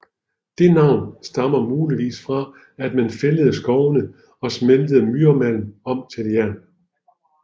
Det navn stammer muligvis fra at man fældede skovene og smeltede myremalm om til jern